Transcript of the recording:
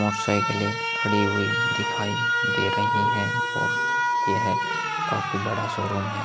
मोटरसाइकिले खड़ी हुई दिखाई दे रही है और यह बड़ा शोरूम है।